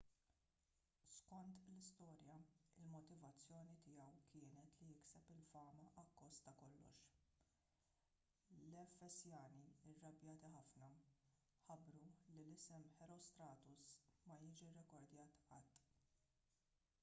skont l-istorja il-motivazzjoni tiegħu kienet li jikseb il-fama akkost ta' kollox l-efesjani irrabjati ħafna ħabbru li isem herostratus ma jiġi rrekordjat qatt